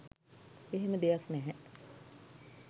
එහෙම දෙයක් නැහැ